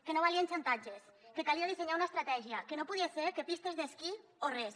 que no valien xantatges que calia dissenyar una estratègia que no podia ser que pistes d’esquí o res